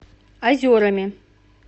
озерами